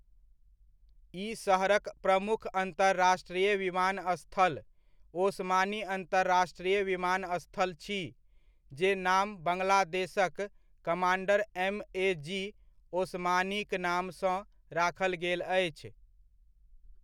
ई शहरक प्रमुख अन्तर्राष्ट्रिय विमानस्थल ओसमानी अन्तर्राष्ट्रिय विमानस्थल छी, जे नाम बङ्गलादेशक कमान्डर एमएजी ओसमानीक नामसँ राखल गेल अछि।